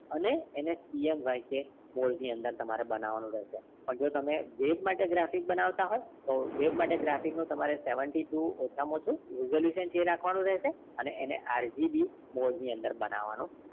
અને એને CMYK code ની અંદર બનાવવા નું રહેશે પણ જો તમે web માટે graphics બનાવતા હોય તો web માટે ની graphics નું seventy two ઓછા માં ઓછુ resolution છે એ રાખવાનું રહશે અને એ RGB code ની અંદર બનાવવાનો